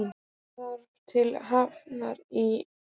Ég þarf til Hafnar í fyrramálið.